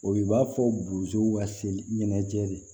O b'a fɔ bozow ka se ɲɛnajɛ de